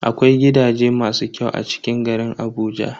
Akwai gidaje masu kyau a cikin garin Abuja.